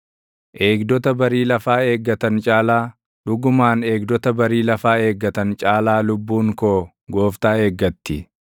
Eegdota barii lafaa eeggatan caalaa, dhugumaan eegdota barii lafaa eeggatan caalaa lubbuun koo Gooftaa eeggatti.